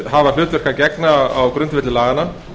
hafa hlutverki að gegna á grundvelli laganna